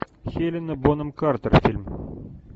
хелена бонем картер фильм